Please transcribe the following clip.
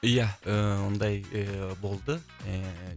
ия ыыы ондай ыыы болды ыыы